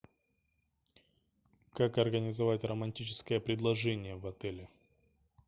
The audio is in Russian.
как организовать романтическое предложение в отеле